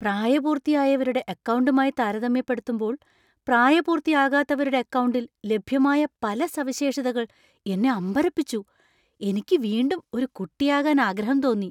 പ്രായപൂർത്തിയായവരുടെ അക്കൗണ്ടുമായി താരതമ്യപ്പെടുത്തുമ്പോൾ പ്രായപൂർത്തിയാകാത്തവരുടെ അക്കൗണ്ടിൽ ലഭ്യമായ പല സവിശേഷതകൾ എന്നെ അമ്പരപ്പിച്ചു. എനിക്ക് വീണ്ടും ഒരു കുട്ടിയാകാൻ ആഗ്രഹം തോന്നി .